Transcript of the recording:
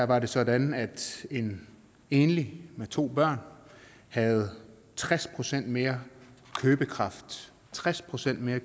var det sådan at en enlig med to børn havde tres procent mere købekraft tres procent mere